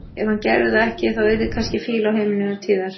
Ef hann gerði það ekki þá yrði kannski fýla á heimilinu innan tíðar.